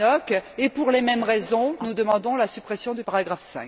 Tannock, et pour les mêmes raisons, nous demandons la suppression du paragraphe